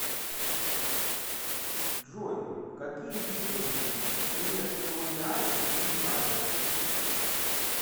джой какие виды преторианец ты знаешь